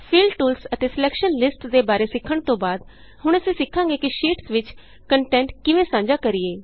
fill tools ਅਤੇ selection listsਦੇ ਬਾਰੇ ਸਿੱਖਣ ਤੋਂ ਬਾਅਦ ਹੁਣ ਅਸੀਂ ਸਿੱਖਾਂਗੇ ਕਿ ਸ਼ੀਟਸ ਵਿਚ ਕੰਟੈਂਟ ਕਿਵੇਂ ਸਾਂਝਾ ਕਰੀਏ